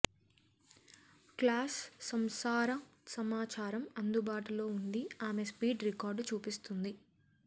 class సంసార సమాచారం అందుబాటులో ఉంది ఆమె స్పీడ్ రికార్డు చూపిస్తుంది